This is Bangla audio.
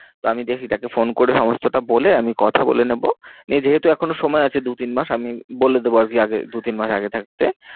তো আমি দেখি তাকে phone করে সমস্তটা বলে আমি কথা বলে নেবো। নিয়ে যেহেতু এখনো সময় আছে দু তিন মাস আমি বলে দেবো আর কি আগে দু তিন মাস আগে থাকতে।